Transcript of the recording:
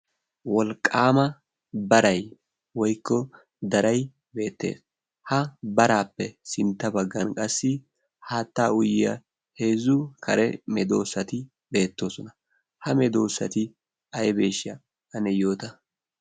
wolqqaama barai woikko darai beettee ha baraappe sintta baggan qassi haatta uyyiya heezzu kare medoosati deettoosona. ha medoosati aybeeshsha ane yoota?